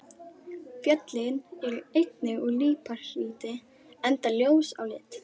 Fjöllin eru einnig úr líparíti enda ljós á lit.